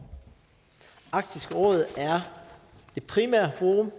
arktisk råd er det primære forum